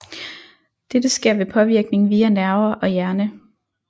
Dette sker ved påvirkning via nerver og hjerne